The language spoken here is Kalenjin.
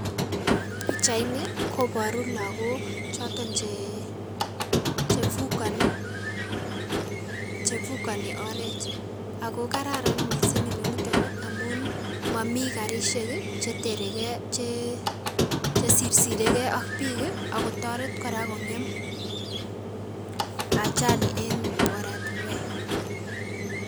Pichaini koboru logok choton che chefukoni oret ago kararan missing' inoniton amun momi karisiek ii cheterekei chechesirsirekei ok biik ii ak kotoret kora kong'em ajali en oratinuek.